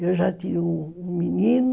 Eu já tinha um um menino.